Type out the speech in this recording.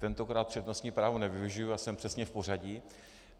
Tentokrát přednostní právo nevyužiji a jsem přesně v pořadí.